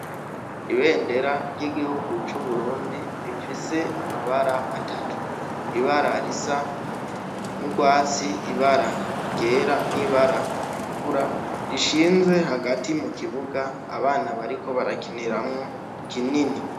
Ibendera ry' igihugu c' Uburundi rifise amabara atatu ibara risa n' ugwatsi ibara ryera ubara ritukura rishinze hagati mukibuga abana bariko barakiniramwo kinini.